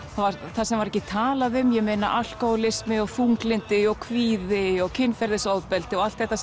það sem var ekki talað um ég meina alkóhólismi og þunglyndi og kvíði og kynferðisofbeldi og allt þetta